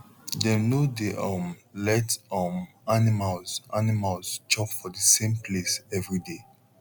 dem no dey um let um animals animals chop for the same place everyday